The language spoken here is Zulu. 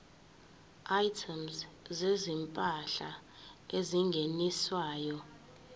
items zezimpahla ezingeniswayo